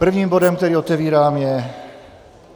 Prvním bodem, který otevírám, je